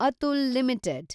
Atul limited